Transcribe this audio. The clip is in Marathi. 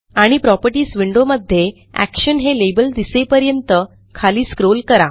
आणि प्रॉपर्टीज विंडो मध्ये एक्शन हे लेबल दिसेपर्यंत खाली स्क्रोल करा